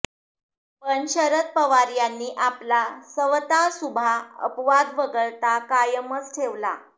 पण शरद पवार यांनी आपला सवता सुभा अपवाद वगळता कायमच ठेवला